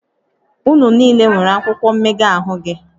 Unu niile nwere akwụkwọ mmega ahụ gị?